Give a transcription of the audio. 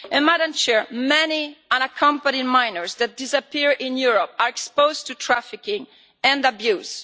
Madam President, many unaccompanied minors that disappear in Europe are exposed to trafficking and abuse.